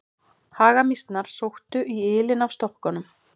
Hagamýsnar sóttu í ylinn af stokkunum.